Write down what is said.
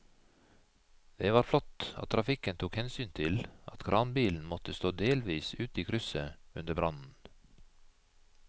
Det var flott at trafikken tok hensyn til at kranbilen måtte stå delvis ute i krysset under brannen.